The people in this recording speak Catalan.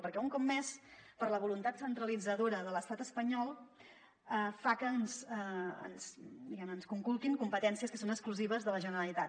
perquè un cop més la voluntat centralitza·dora de l’estat espanyol fa que ens conculquin competències que són exclusives de la generalitat